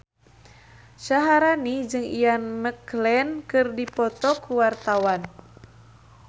Syaharani jeung Ian McKellen keur dipoto ku wartawan